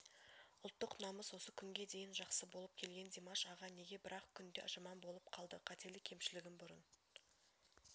ұлттық намыс осы күнге дейін жақсы болып келген димаш аға неге бір-ақ күнде жаман болып қалды қателік-кемшілігін бұрын